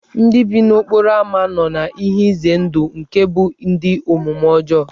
Ndị bi n'okporo ámá nọ n'ihe ize ndụ nke ịbụ ndị omume ọjọọ.